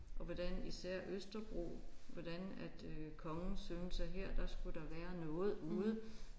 Og hvordan især Østerbro hvordan at øh kongens søn sagde her der skulle der være noget ude